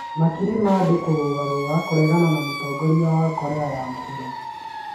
Makiri ma andũ kũrũrũngana kũregana na mũtongoria wa Korea ya mũhuro